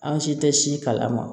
An si tɛ si kalama